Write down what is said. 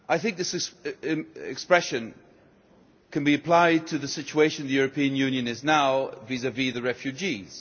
This expression can be applied to the situation the European Union is in now vis vis the refugees.